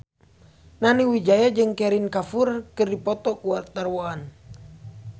Nani Wijaya jeung Kareena Kapoor keur dipoto ku wartawan